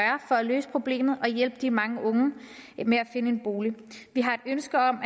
for at løse problemet og hjælpe de mange unge med at finde en bolig vi har et ønske om